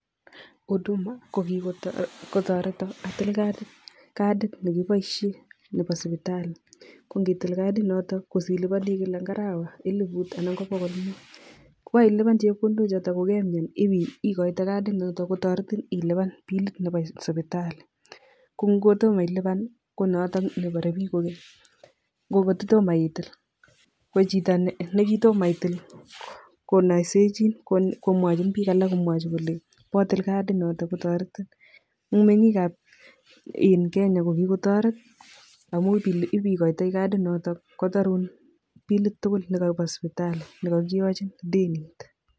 Huduma ko kikotoreto atil kadit, kadit nekipoishe nebo sipitali, ko ngitil kadinoto ko silipani kila arawa elput anan ko bokol muut. Ko kailipani chepkondochoto ko kemian ikoite kadinoto kotoretin ilipan bilit nebo sipitali , ko ngotomo ilipan konoto neparei biik kokeny. Ko ngotomo itil, ko chito ne kitomo itil, konaiseichin komwachi biik alak komwachin kole potiil kadinoto kotoretin. Eng mengiikab Kenya ko kikotoret amun ipikoitei kadinoto kotarun bilit tugul nekabo sipitali nekakiyochin denit.